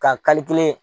Ka kelen